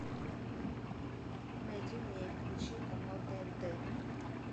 найди мне и включи канал тнт